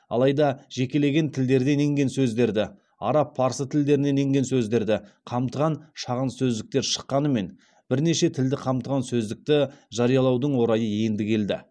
алайда жекелеген тілдерден енген сөздерді араб парсы тілдерінен енген сөздерді қамтыған шағын сөздіктер шыққанымен бірнеше тілді қамтыған сөздікті жариялаудың орайы енді келді